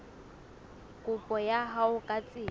kopo ya hao ka tsela